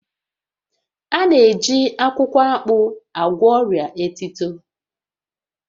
A na-eji akwukwo akpu agwọ ọria etito